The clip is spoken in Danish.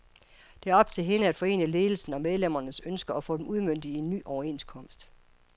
Det er op til hende at forene ledelsens og medlemmernes ønsker og få dem udmøntet i en ny overenskomst.